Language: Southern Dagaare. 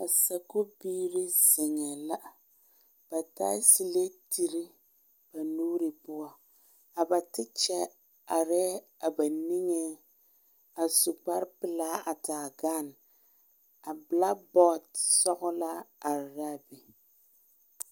Sakubiiri zeŋee la ba taa selediri ba nuure poɔ a ba tekya arɛɛ a ba niŋeŋ a su kpare pelaaa a taa bɔɔl a bɛlaabɔɔl sɔgelaa are la a be